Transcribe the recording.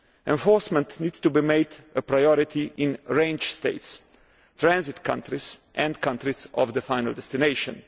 Enforcement needs to be made a priority in range states, transit countries and countries of final destination.